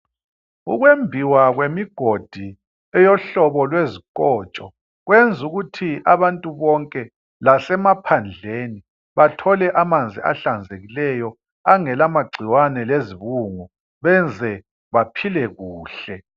Ukwembiwa kwemigodi eyohlobo lwezikotsho kwenzukuthi abantu bonke lasemaphandleni bathole amanzi ahlanzekileyo angela magcikwane lezibungu benze baphile kuhle.